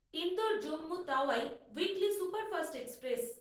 Indore Jammu Tawi weekly superfast express